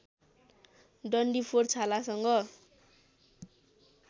डन्डीफोर छालासँग